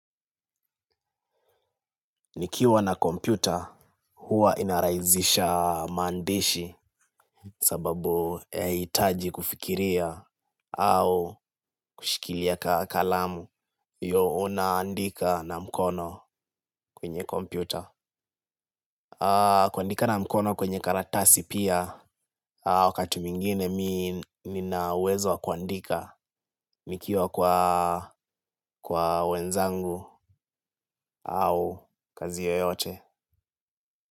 Nikiwa na kompyuta huwa inaraizisha maandishi sababu haitaji kufikiria au kushikilia kalamu hio unaandika na mkono kwenye kompyuta. Kuandika na mkono kwenye karatasi pia wakati mwingine mi nina uwezo w wa kuandika nikiwa kwa wenzangu au kazi yoyote.